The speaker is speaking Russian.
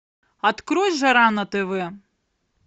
открой жара на тв